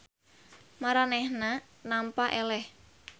Maranehanana nampa eleh.